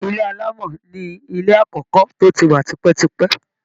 Ilé alámọ̀ ni ilé àkọ́kọ́ tó ti wa tipẹ́tipẹ́